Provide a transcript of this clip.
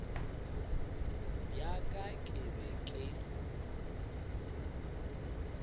ya ka ke be ke